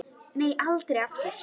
Nei, aldrei aftur.